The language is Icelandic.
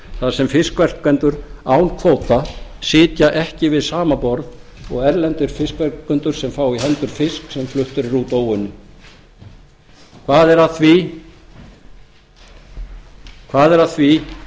þar sem fiskverkendum án kvóta sitja ekki við sama borð og erlendir fiskverkendur sem fá í hendur fisk sem fluttur er út óunninn hvað er að því